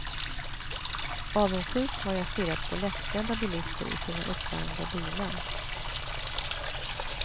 Avundsjukt har jag stirrat på lättklädda bilister i sina uppvärmda bilar.